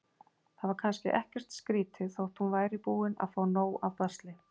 Það var kannski ekkert skrýtið þótt hún væri búin að fá nóg af basli.